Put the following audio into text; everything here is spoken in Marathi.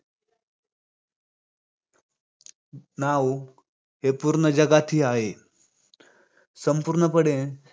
नाव हे पूर्ण जगातहि आहे. संपूर्ण पण